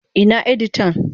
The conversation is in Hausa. Ina editan?